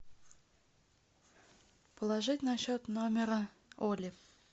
положить на счет номера оли